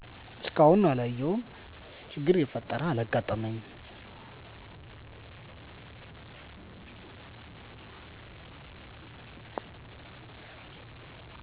እስካሁን አላየሁም ችግር የፈጠረም አላጋጠመኝም።